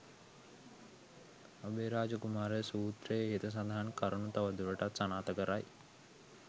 අභයරාජ කුමාර සූත්‍රය ඉහත සඳහන් කරුණ තව දුරටත් සනාථ කරයි.